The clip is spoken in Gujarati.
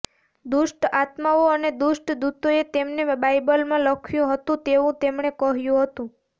દુષ્ટ આત્માઓ અને દુષ્ટ દૂતોએ તેમને બાઇબલમાં લખ્યું હતું તેવું તેમણે કહ્યું હતું